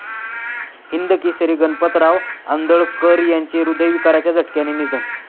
हिंदकेसरी गणपतराव आंदळकर यांचे हृदयविकाराच्या झटक्याने निधन